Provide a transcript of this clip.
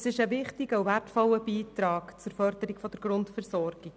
Es ist ein wichtiger und wertvoller Beitrag zur Förderung der Grundversorgung.